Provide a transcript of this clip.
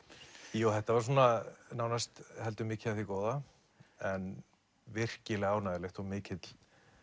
jú þetta var svona nánast heldur mikið af því góða en virkilega ánægjulegt og mikill